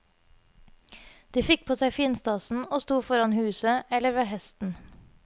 De fikk på seg finstasen og sto foran huset eller ved hesten.